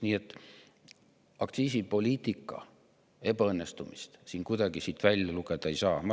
Nii et aktsiisipoliitika ebaõnnestumist siit kuidagi välja lugeda ei saa.